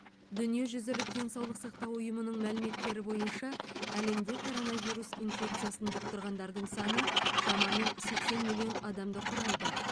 дүниежүзілік денсаулық сақтау ұйымының мәліметтері бойынша әлемде коронавирус инфекциясын жұқтырғандардың саны шамамен сексен миллион адамды құрайды